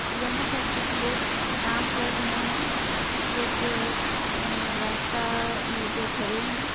यहाँ पर कुछ लोग काम कर रहे हैं कुछ लोग जो हैअअअ रास्ता पे खरे हैं।